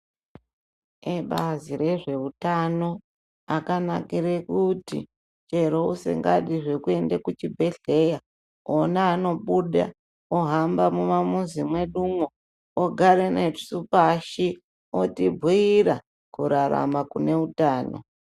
Ebazi rezveutano akanakire kuti chero usingadi zvekuende kuchibhedhlera onawo anobuda ohamba mumamuzi medumo ogara nesu pashi otibhuira kurarama kune utano .